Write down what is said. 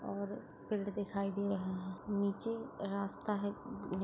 और पेड़ दिखाई दे रहा है नीचे रास्ता है।